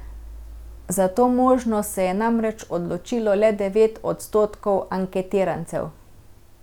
Za to možnost se je namreč odločilo le devet odstotkov anketirancev.